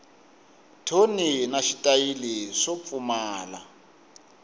thoni na xitayili swo pfumala